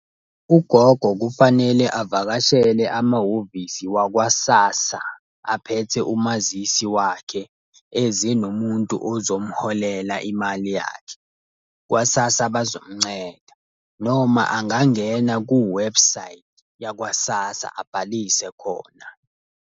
Ugogo kufanele avakashele amahhovisi wakwa-SASSA, aphethe umazisi wakhe, eze nomuntu ozomholela imali yakhe. Kwa-SASSA bazomnceda. Noma angangena ku-website yakwa SASSA abhalise khona.